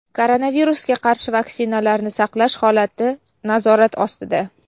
Koronavirusga qarshi vaksinalarni saqlash holati nazorat ostida.